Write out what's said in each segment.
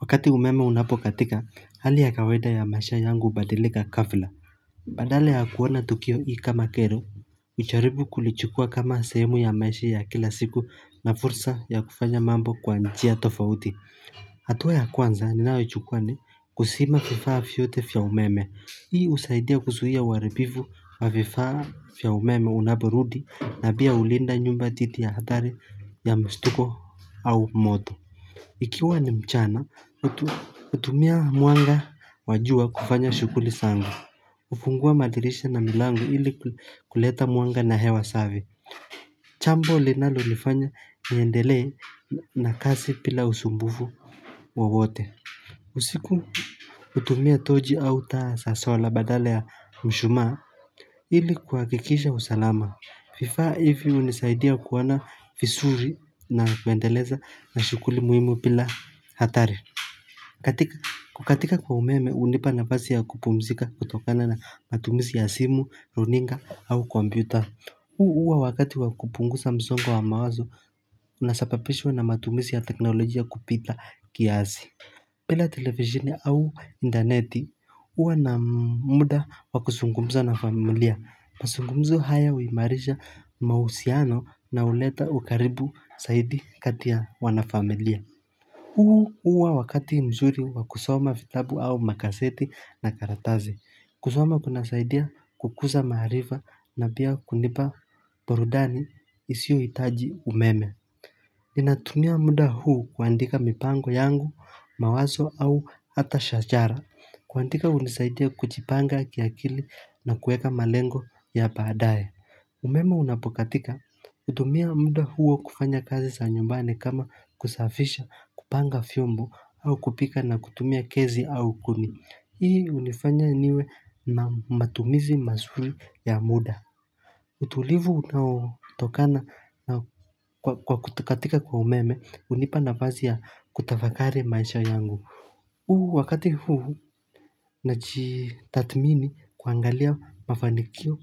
Wakati umeme unapokatika, hali ya kawaida ya maisha yangu ubadilika gafla. Badala ya kuona tukio hili kama kero, jaribu kulichukua kama sehemu ya maisha ya kila siku na fursa ya kufanya mambo kwa njia tofauti. Hatuwa ya kwanza, ninayo chukua, kuzima vifaa vyote vya umeme. Hii usaidia kuzuia uharibifu wa vifaa vya umeme unapurudi na pia ulinda nyumba dhidhi ya hatari ya mstuko au moto. Ikiwa ni mchana, utumia mwanga wajua kufanya shukuli zangu. Ufungua madirisha na milango ili kuleta mwanga na hewa safi. Jambo linalo nifanya niendele na kazi bila usumbufu wowote. Usiku utumia tochi au taa za sola badala ya mshuma ili kuhakikisha usalama. Vifaa hivi unisaidia kuona vizuri na kuendeleza na shuguli muhimu bila hatari kukatika kwa umeme unipa nafasi ya kupumzika kutokana na matumizi ya simu, runinga au komputer huu huwa wakati wakupunguza msongo wa mawazo unasababishwa na matumizi ya teknolojia kupita kiasi bila televisheni au intaneti huwa na muda wa kuzungumza na familia mazungumzo haya uimarisha mausiano na uleta ukaribu zaidi kati ya wanafamilia huu huwa wakati mzuri wa kusoma vitabu au magazeti na karatasi kusoma kuna saidi kukuza maharifa na pia kunipa burudani isiyo hitaji umeme Ninatunia muda huu kuandika mipango yangu, mawazo au hata shajara kwandika kuna nisaidia kujipanga kiakili na kueka malengo ya baadae Umemo unapokatika utumia muda huo kufanya kazi za nyumbani kama kusafisha kupanga vyombo au kupika na kutumia gesi au kuni hii unifanya niwe matumizi mazuri ya muda utulivu unao tokana kwa kutokatika kwa umeme unipa nafasi ya kutafakari maisha yangu huu wakati huu na jitatmini kuangalia mafanikio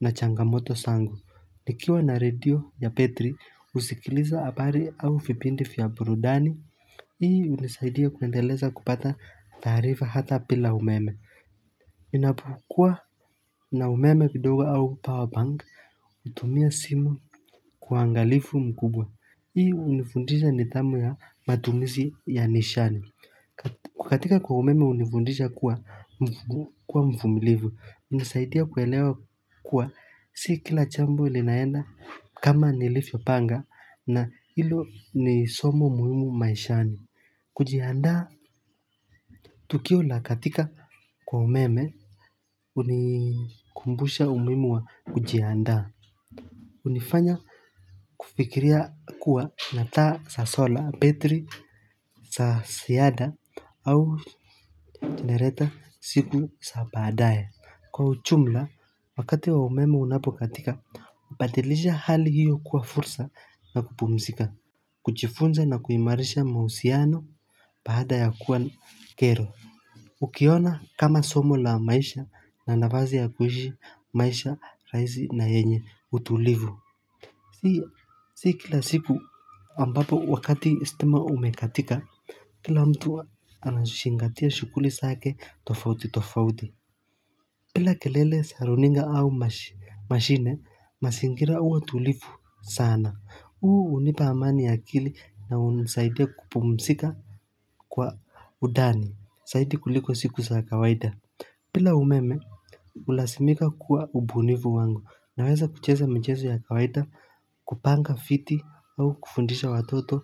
na changamoto zangu. Nikiwa na radio ya betri usikiliza habari au vipindi vya burudani. Hii unisaidia kuendeleza kupata tarifa hata bila umeme. Inapokua na umeme kidoga au power bank utumia simu kwa uangalifu mkubwa. Hii unifundisha nidhamu ya matumizi ya nishani. Kukatika kwa umeme unifundisha kuwa mfumilivu, unisaidia kuelewa kuwa si kila jambo linaenda kama nilivyo panga na ilo ni somo muhimu maishani. Kujiandaa. Tukio la kukatika kwa umeme unikumbusha umuhimu wa kujiandaa. Unifanya kufikiria kuwa nataa za sola betri za ziada au jenereta siku za baadae kwa ujumla wakati wa umeme unapokatika ubadilisha hali hiyo kuwa fursa na kupumzika kujifunza na kuimarisha mahusiano baada ya kuwa ni kero ukiona kama somo la maisha na nafasi ya kuishi maisha rahisi na yenye utulivu Si kila siku ambapo wakati stima imekatika, kila mtu anazingatia shuguli zake tofauti tofauti. Bila kelele za runinga au mashine, mazingira huwa tulivu sana. Huu unipa amani ya kili na unisaidia kupumzika kwa undani, zaidi kuliko siku sa kawaida. Bila umeme, ulazimika kuwa ubunifu wangu naweza kucheza michezo ya kawaita kupanga viti au kufundisha watoto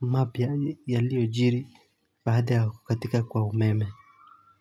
mapya yalioyo jiri baada ya kukatika kwa umeme.